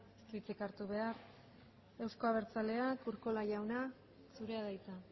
ez du hitzik hartu behar euzko abertzalea urkola jauna zurea da hitza